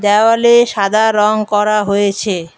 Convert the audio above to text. দেওয়ালে সাদা রং করা হয়েছে।